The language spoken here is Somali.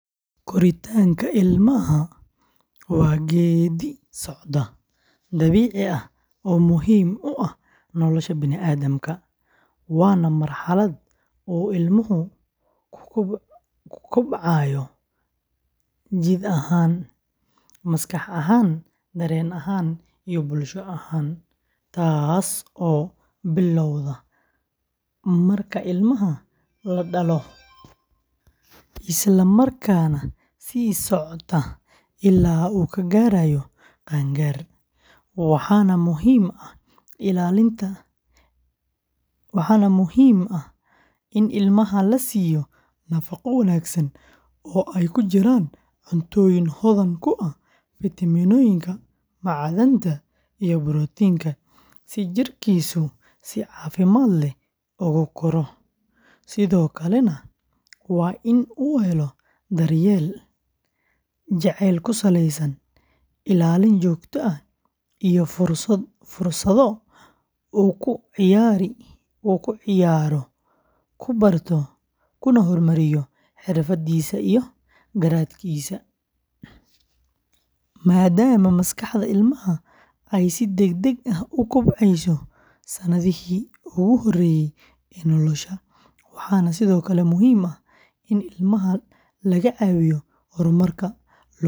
Korriinka ilmaha waa geedi-socod dabiici ah oo muhiim u ah nolosha bini’aadamka, waana marxalad uu ilmahu ku kobcayo jidh ahaan, maskax ahaan, dareen ahaan, iyo bulsho ahaan, taasoo bilowda marka ilmaha la dhalo isla markaana sii socota illaa uu ka gaarayo qaangaar, waxaana muhiim ah in ilmaha la siiyo nafaqo wanaagsan oo ay ku jiraan cuntooyin hodan ku ah fiitamiinooyinka, macdanta iyo borotiinka, si jidhkiisu si caafimaad leh ugu koro, sidoo kalena waa in uu helo daryeel jacayl ku saleysan, ilaalin joogto ah, iyo fursado uu ku ciyaaro, ku barto, kuna horumariyo xirfadiisa iyo garaadkiisa, maadaama maskaxda ilmaha ay si degdeg ah u kobcayso sannadihii ugu horreeyay ee nolosha, waxaana sidoo kale muhiim ah in ilmaha laga caawiyo horumarka luqadda.